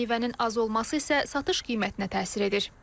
Meyvənin az olması isə satış qiymətinə təsir edir.